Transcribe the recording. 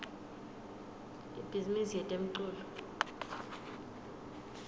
ibhizimisi yetemculo